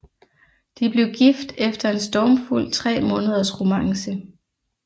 De blev gift efter en stormfuld 3 måneders romance